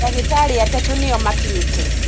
Dagĩtarĩatatũ nĩo makinyite.